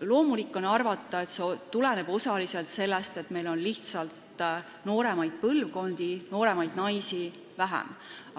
Loomulik on arvata, et see tuleneb osaliselt sellest, et meil on lihtsalt nooremaid põlvkondi, nooremaid naisi vähem,